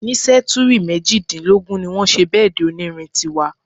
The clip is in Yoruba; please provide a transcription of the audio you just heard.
Ní sẹ́túrì mejìdínlógún ní wọ́n ṣe bẹ́èdì onírin tí wà.